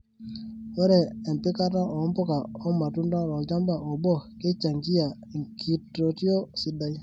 Ore empikata oo mpuka o matunda tolchamba obo keichangia enkitotio sidai.